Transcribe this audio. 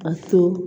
A to